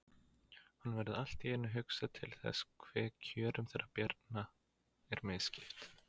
Honum verður allt í einu hugsað til þess hve kjörum þeirra Bjarna er misskipt.